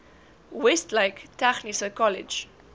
westlake tegniese kollege